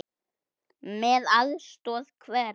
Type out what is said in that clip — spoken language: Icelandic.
Með aðstoð hverra?